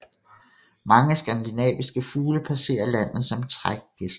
Mange skandinaviske fugle passerer landet som trækgæster